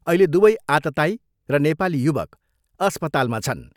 अहिले दुवै आततायी र नेपाली युवक अस्पतालमा छन्।